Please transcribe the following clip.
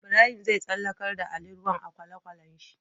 Ibrahim zai tsallakar da ali ruwan a kwale kwalen shi